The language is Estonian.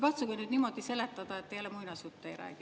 Katsuge nüüd niimoodi seletada, et te jälle muinasjutte ei räägi.